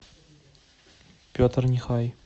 петр нихай